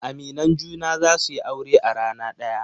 Aminan junan za su yi aure a rana daya.